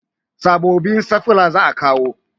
Sabobbin stafila za a kawo